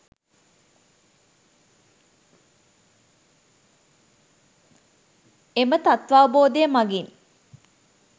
එම තත්ත්වාවබෝධය මගින්